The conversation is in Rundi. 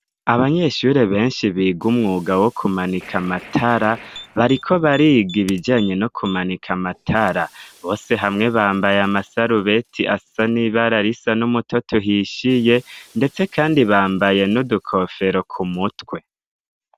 abanyeshure benshi biga umwuga wo kumanika amatara bariko bariga ibijanye no kumanika amatara bose hamwe bambaye amasarubeti asa n'ibararisa n'umutoto hishyiye ndetse kandi bambaye n'udukofero ku mutwe